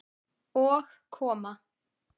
Og koma